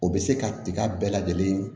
O bɛ se ka tiga bɛɛ lajɛlen